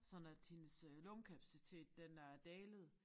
Sådan at hendes øh lungekapacitet den er dalet